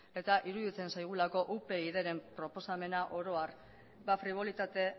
eta iruditzen zaigulako upydren proposamena oro har fribolitate